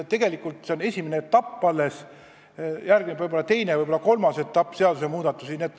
Tegelikult see on alles esimene etapp, järgneb teine ja võib-olla ka kolmas etapp seadusmuudatusi.